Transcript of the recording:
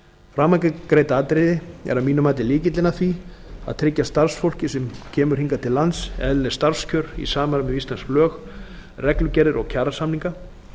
framangreint atriði er að mínu mati lykillinn að því að tryggja starfsfólki sem kemur hingað til lands eðlileg starfskjör í samræmi við íslensk lög reglugerðir og kjarasamninga